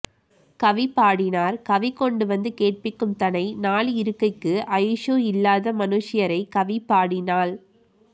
கவி பாடினார் கவி கொண்டு வந்து கேட்பீக்கும் தனை நாள் இருக்கைக்கு ஆயுஸ் ஸூ இல்லாத மனுஷ்யரைக் கவி பாடினால்